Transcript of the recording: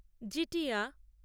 Jitiya